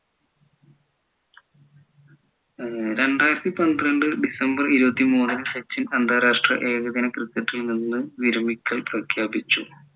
ഏർ രണ്ടായിരത്തി പന്ത്രണ്ട് ഡിസംബർ ഇരുപത്തിമൂന്ന് സച്ചിൻ അന്താരാഷ്ട്ര ഏകദിന cricket ൽ നിന്ന് വിരമിക്കൽ പ്രഖ്യാപിച്ചു